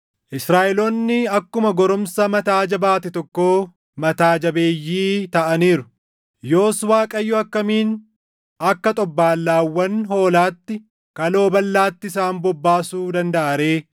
Israaʼeloonni akkuma goromsa mataa jabaate tokkoo mataa jabeeyyii taʼaniiru. Yoos Waaqayyo akkamiin akka xobbaallaawwan hoolaatti kaloo balʼaatti isaan bobbaasuu dandaʼa ree?